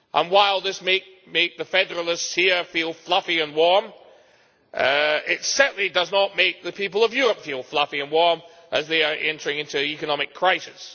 While this may make the federalists here feel fluffy and warm, it certainly does not make the people of Europe feel fluffy and warm as they are entering into an economic crisis.